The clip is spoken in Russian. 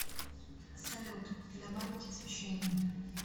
салют добавить освещение